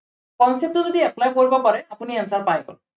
concept টো যদি apply কৰিব পাৰে, আপুনি answer পাই গ'ল।